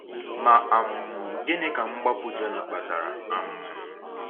Ma um gịnị ka mgbapụ Jona kpatara? um